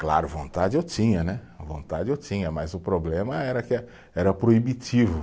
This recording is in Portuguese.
Claro, vontade eu tinha né, a vontade eu tinha, mas o problema era que é, era proibitivo.